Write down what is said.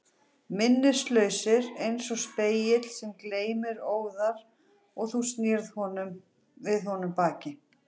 Minnislausir eins og spegill sem gleymir óðar og þú snýrð við honum baki.